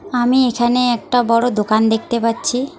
আমি এখানে একটা বড়ো দোকান দেখতে পাচ্ছি।